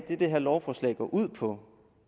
det her lovforslag går ud på